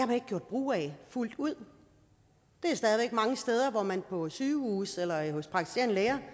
man ikke gjort brug af fuldt ud der er stadig mange steder på sygehuse eller hos praktiserende læger